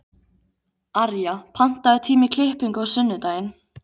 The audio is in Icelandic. Arja, pantaðu tíma í klippingu á sunnudaginn.